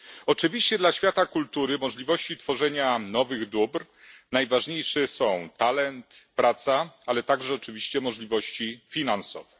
Oczywiście dla świata kultury, możliwości tworzenia nowych dóbr najważniejsze są talent, praca, ale także oczywiście możliwości finansowe.